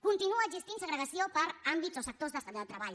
continua existint segregació per àmbits o sectors de treball